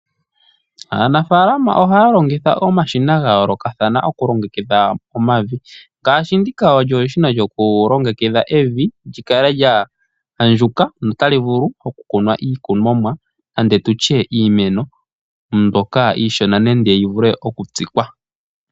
Aanafaalama ohaya longitha omashina ga yoolokathana okulongekidha omavi. Ngaashi ndika olyo eshina lyokulongekidha evi lyi kale lya andjuka notali vulu okukunwa iikunomwa nenge tutye iimeno. Mbyoka iishona nenge yi vule okutsikwa.